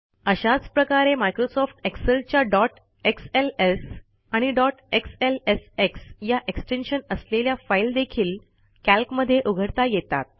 अशाच प्रकारे मायक्रोसॉफ्ट एक्सेलच्या डॉट एक्सएलएस आणि डॉट एक्सएलएसएक्स या एक्सटेन्शन असलेल्या फाईल देखील कॅल्कमध्ये उघडता येतात